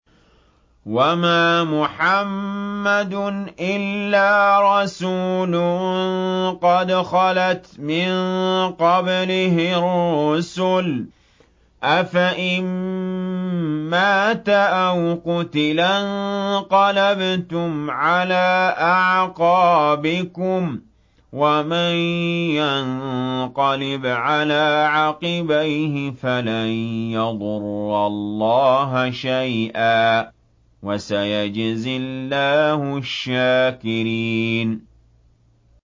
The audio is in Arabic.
وَمَا مُحَمَّدٌ إِلَّا رَسُولٌ قَدْ خَلَتْ مِن قَبْلِهِ الرُّسُلُ ۚ أَفَإِن مَّاتَ أَوْ قُتِلَ انقَلَبْتُمْ عَلَىٰ أَعْقَابِكُمْ ۚ وَمَن يَنقَلِبْ عَلَىٰ عَقِبَيْهِ فَلَن يَضُرَّ اللَّهَ شَيْئًا ۗ وَسَيَجْزِي اللَّهُ الشَّاكِرِينَ